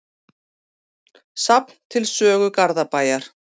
Safn til sögu Garðabæjar.